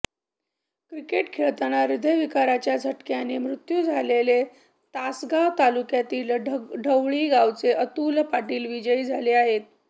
cricket खेळताना हृदयविकाराच्या झटक्याने मृत्यू झालेले तासगाव तालुक्यातील ढवळी गावचे अतुल पाटील विजयी झाले आहे